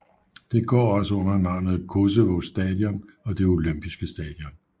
Det går også under navnene Koševo Stadion og Det Olympiske Stadion